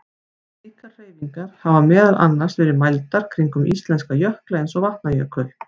Slíkar hreyfingar hafa meðal annars verið mældar kringum íslenska jökla eins og Vatnajökul.